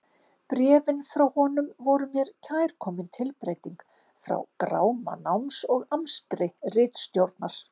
Bréfin frá honum voru mér kærkomin tilbreyting frá gráma náms og amstri ritstjórnar.